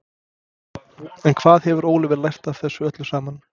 En hvað hefur Óliver lært af þessu öllu saman?